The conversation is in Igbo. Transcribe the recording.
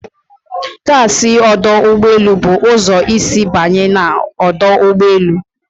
Taxi ọdụ ụgbọ elu bụ ụzọ isi banye na ọdụ ụgbọ elu